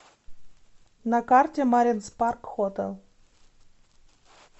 на карте маринс парк хотэл